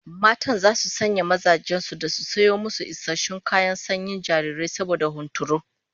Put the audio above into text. Matan zasu sanya mazajen su da su sayo musu isassun kayan sanyin jarirai saboda hunturu